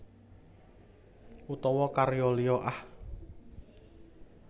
Utawa karya liya Ah